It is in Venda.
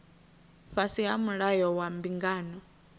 fhasi ha mulayo wa mbingano